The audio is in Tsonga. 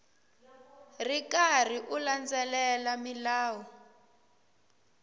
ri karhi u landzelela milawu